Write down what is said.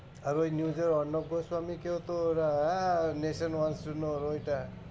আর ওই news এর অন্নপ্রসন্নকেও তো ওরা হ্যাঁ Nation হওয়ার জন্য